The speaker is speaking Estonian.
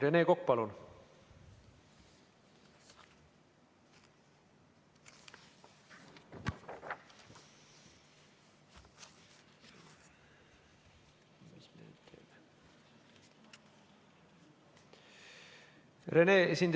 Rene Kokk, palun!